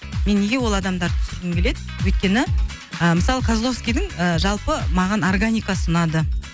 мен неге ол адамдарды түсіргім келеді өйткені ы мысалы козловскидің ы жалпы маған органикасы ұнады